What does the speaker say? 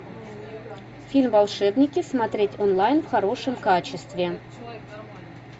фильм волшебники смотреть онлайн в хорошем качестве